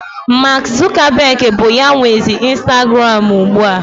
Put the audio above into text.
Maak Zukabeg bụ ya nwezi Instaguram ugbu a.